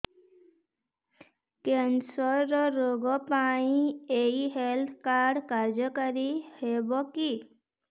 cancer ରୋଗ ପାଇଁ ଏଇ ହେଲ୍ଥ କାର୍ଡ କାର୍ଯ୍ୟକାରି ହେବ କି